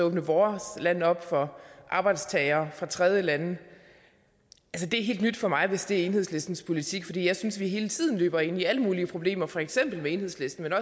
åbne vores land op for arbejdstagere fra tredjelande det er helt nyt for mig hvis det er enhedslistens politik for jeg synes vi hele tiden løber ind i alle mulige problemer med for eksempel enhedslisten